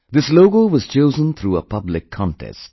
This logo was chosen through a public contest